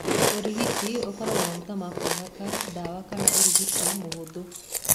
Ũrigiti ũkoragwo maguta ma kwĩhaka, dawa kana ũrigiti mũhũthũ.